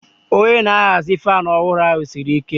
Onye na-ahazi fan ọhụrụ ahụ siri ike.